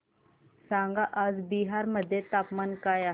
सांगा आज बिहार मध्ये तापमान काय आहे